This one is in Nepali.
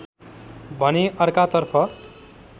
भने अर्का तर्फ